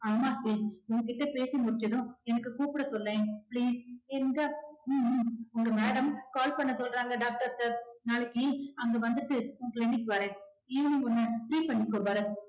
அண்ணா please உன் கிட்ட பேசி முடிச்சதும் எனக்கு கூப்பிட சொல்லேன் please என்றார் ஹம் ஹம் உங்க madam call பண்ண சொல்றாங்க doctor sir நாளைக்கு அங்க வந்துட்டு உன் clinic வரேன் evening உன்ன free பண்ணிக்கோ பரத்